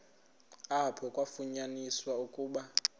apho kwafunyaniswa ukuba